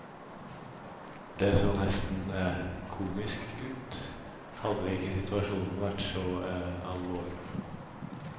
Det så nesten komisk ut, hadde ikke situasjonen vært så alvorlig.